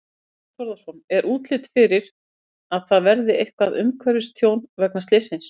Þorbjörn Þórðarson: Er útlit fyrir að það verði eitthvað umhverfistjón vegna slyssins?